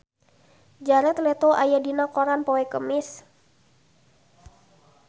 Jared Leto aya dina koran poe Kemis